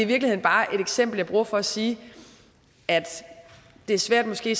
virkeligheden bare et eksempel som jeg bruger for at sige at det er svært måske